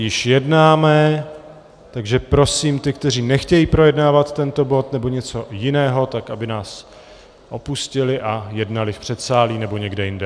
Již jednáme, takže prosím ty, kteří nechtějí projednávat tento bod nebo něco jiného, tak aby nás opustili a jednali v předsálí nebo někde jinde.